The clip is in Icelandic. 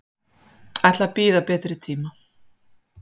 Ætla að bíða betri tíma.